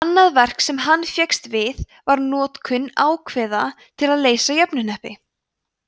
annað verk sem hann fékkst við var notkun ákveða til að leysa jöfnuhneppi